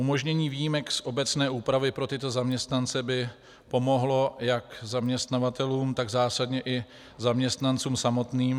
Umožnění výjimek z obecné úpravy pro tyto zaměstnance by pomohlo jak zaměstnavatelům, tak zásadně i zaměstnancům samotným.